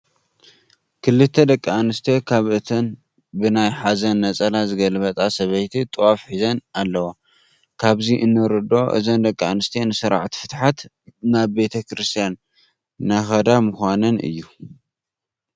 ክልተ ደቂ ኣነስትዮ ካብአን እተን ብናይ ሓዘን ነፀላ ዝገልበጣ ሰበይቲ ጥዋፍ ሒዘን ኣለዋ፡፡ ካብዚ እንርድኦ እዘን ደቂ ኣንስትዮ ንስርዓተ ፍትሓት ናብ ቤተ ክርስቲያን እናኸዳ ምዃነን እዩ፡፡